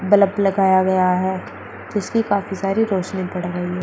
Bulb लगाया गया है जिसकी काफी सारी रोशनी पड़ रही है।